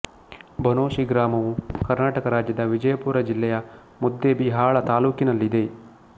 ಬನೋಶಿ ಗ್ರಾಮವು ಕರ್ನಾಟಕ ರಾಜ್ಯದ ವಿಜಯಪುರ ಜಿಲ್ಲೆಯ ಮುದ್ದೇಬಿಹಾಳ ತಾಲ್ಲೂಕಿನಲ್ಲಿದೆ